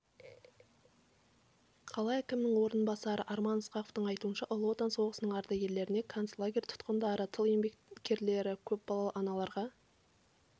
қала әкімінің орынбасары арман ысқақовтың айтуынша ұлы отан соғысының ардагерлеріне концлагерь тұтқындары тыл еңбеккерлері көпбалалы аналарға